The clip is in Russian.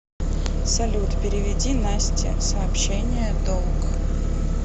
салют переведи насте сообщение долг